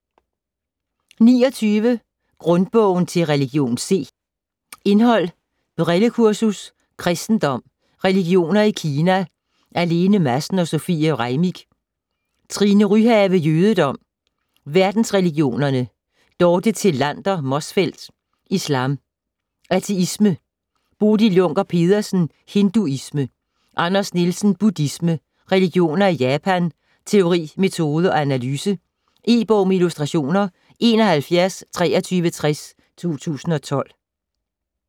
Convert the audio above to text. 29 Grundbogen til religion C Indhold: Brillekursus ; Kristendom ; Religioner i Kina / af Lene Madsen & Sofie Reimick. Trine Ryhave: Jødedom ; Verdensreligionerne. Dorte Thelander Motzfeldt: Islam ; Ateisme. Bodil Junker Pedersen: Hinduisme. Anders Nielsen: Buddhisme ; Religioner i Japan ; Teori, metode og analyse. E-bog med illustrationer 712360 2012.